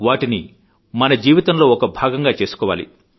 వాటిని మన జీవితంలో ఒక భాగంగా చేసుకోవాలి